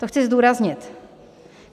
To chci zdůraznit.